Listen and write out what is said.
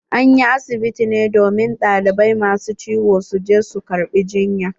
An yi asibiti ne domin ɗalibai ma su ciwo su je su karɓa jiyya.